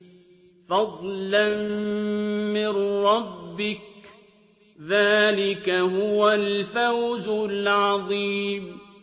فَضْلًا مِّن رَّبِّكَ ۚ ذَٰلِكَ هُوَ الْفَوْزُ الْعَظِيمُ